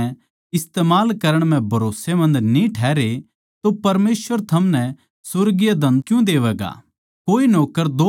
इस करकै जिब थम संसारिक धन म्ह बिश्वास जोग्गा न्ही ठहरे तो साच्चा धन थमनै कौण देवैगा